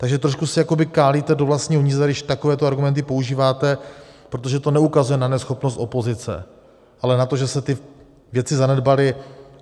Takže trošku si jakoby kálíte do vlastního hnízda, když takovéto argumenty používáte, protože to neukazuje na neschopnost opozice, ale na to, že se ty věci zanedbaly.